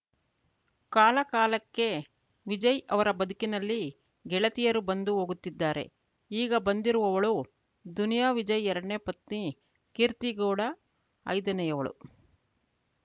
ಕಾಲಕಾಲಕ್ಕೆ ವಿಜಯ್‌ ಅವರ ಬದುಕಿನಲ್ಲಿ ಗೆಳೆತಿಯರು ಬಂದು ಹೋಗುತ್ತಿದ್ದಾರೆ ಈಗ ಬಂದಿರುವವಳು ದುನಿಯಾ ವಿಜಯ್‌ ಎರಡನೇ ಪತ್ನಿ ಕೀರ್ತಿಗೌಡ ಐದನೆಯವಳು